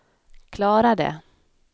klarade